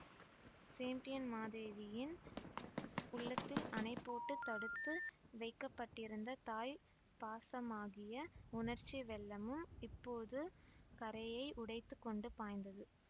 சேம்பியன்மாதேவியின் உள்ளத்தில் அணைபோட்டுத் தடுத்து வைக்க பட்டிருந்த தாய்ப் பாசமாகிய உணர்ச்சி வெள்ளமும் இப்போது கரையை உடைத்து கொண்டு பாய்ந்தது